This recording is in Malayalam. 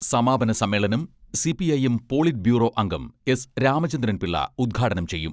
സമാപന സമ്മേളനം സിപിഐഎം പോളിറ്റ് ബ്യൂറോ അംഗം എസ് രാമചന്ദ്രൻപിള്ള ഉദ്ഘാടനം ചെയ്യും.